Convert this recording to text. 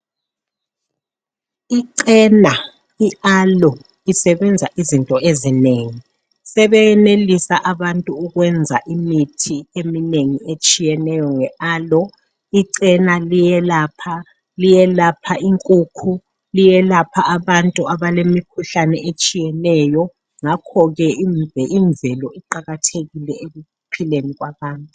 Icena I aloe isebenza izinto ezinengi sebeyenelisa abantu ukwenza imithi eminengi etshiyeneyo nge aloe icena liyelapha liyelapha inkukhu liyelapha abantu abalemikhuhlane etshiyeneyo ngakhoke imvelo iqakathekile ekuphileni kwabantu.